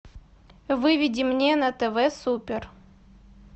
выведи мне на тв супер